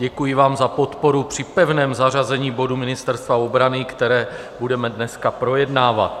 Děkuji vám za podporu při pevném zařazení bodu Ministerstva obrany, které budeme dneska projednávat.